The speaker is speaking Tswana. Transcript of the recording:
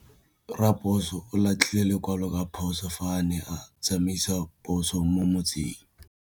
Raposo o latlhie lekwalô ka phosô fa a ne a tsamaisa poso mo motseng.